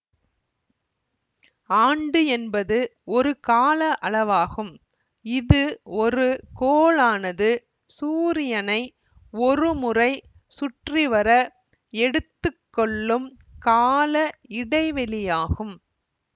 ஆண்டு என்பது ஒரு கால அளவாகும் இது ஒரு கோளானது சூரியனை ஒரு முறை சுற்றி வர எடுத்து கொள்ளும் கால இடைவெளியாகும்